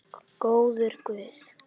Góður guð.